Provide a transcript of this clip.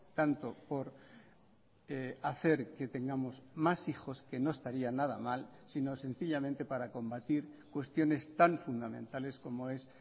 tanto por hacer que tengamos más hijos que no estaría nada mal sino sencillamente para combatir cuestiones tan fundamentales como es